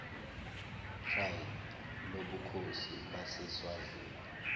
pride lobukhosi baseswazini